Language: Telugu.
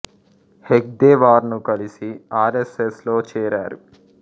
హెడ్గేవార్ ను కలిసి ఆర్ యస్ యస్ లో చేరారు